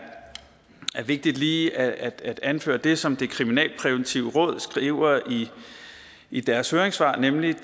vigtigt lige at anføre det som det kriminalpræventive råd skriver i deres høringssvar nemlig